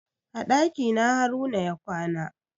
A ɗakina haruna ya kwana.